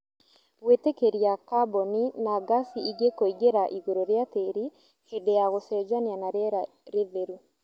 Gwĩtĩkĩria kaboni na gasi ingĩ kũingĩra igũrũ rĩa tĩri hĩndĩ ya gũcenjania na rĩera rĩtheru